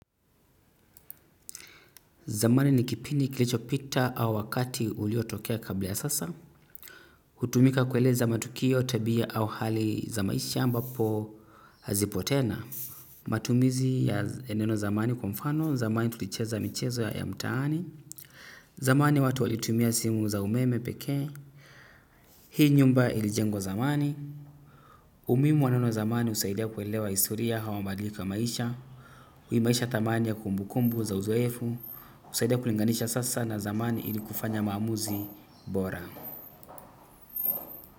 Zamani ni kipindi kilicho pita au wakati uliotokea kabla ya sasa. Hutumika kueleza matukio tabia au hali za maisha ambapo hazipo tena. Matumizi ya neno zamani kwa mfano. Zamani tulicheza michezo ya mtaani. Zamani watu walitumia simu za umeme pekee. Hii nyumba ilijengo zamani. Umuhimu wa neno zamani husaidia kuelewa historia au mabadiliko ya maisha. Hii maisha thamani ya kumbukumbu za uzoefu. Husaidia kulinganisha sasa na zamani ilikufanya maamuzi bora.